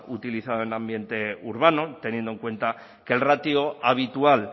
utilizado en un ambiente urbano teniendo en cuenta que el ratio habitual